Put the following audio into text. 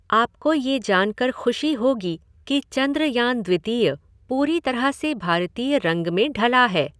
आपको ये जानकार ख़ुशी होगी कि चंद्रयान द्वितीय पूरी तरह से भारतीय रंग में ढला है।